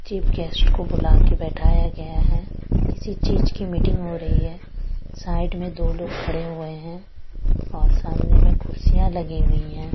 Chief guest को बुलाकर बैठाया गया है किसी चीज की मीटिंग हो रही है साइड में दो लोग खड़े हुए हैं और सामने में कुर्सियां लगी हुई है।